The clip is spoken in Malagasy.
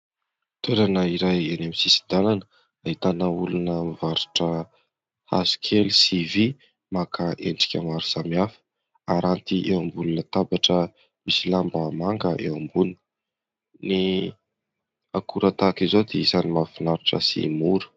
Toerana iray eny amin'ny sisin-dalana ahitana olona mivarotra hazokely sy vy maka endrika maro samihafa, aranty eo ambony latabatra misy lamba manga eo ambony. Ny akora tahaka izao dia anisan'ny mahafinaritra sy mora.